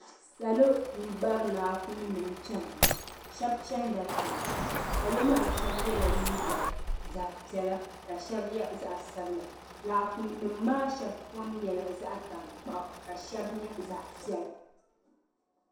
Salo n bari laakum nim chana shɛb chɛnla tiŋa salo ma shɛb yɛla liiga zaɣi piɛla ka shɛb yɛ zaɣi sabila laakum nim maa shɛb kom nyɛla zaɣi tankpaɣu ka shɛb nyɛ zaɣi piɛla.